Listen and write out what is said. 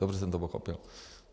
Dobře jsem to pochopil?